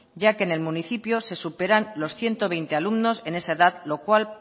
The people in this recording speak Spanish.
ya que en el municipio se superan los ciento veinte alumnos en esa edad lo cual